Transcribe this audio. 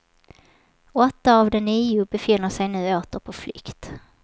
Åtta av de nio befinner sig nu åter på flykt.